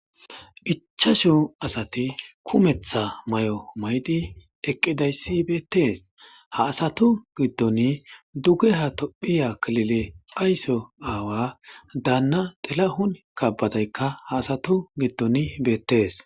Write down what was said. Ichchaashu asati kumeththa mayi'o maydi eqqidayssi beettes ha asatu giddon duge ha tophphiya killile ayso aawa daanna Tilahun kabadaykka ha asatu giddon beettes